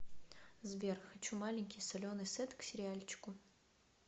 сбер хочу маленький соленый сет к сериальчику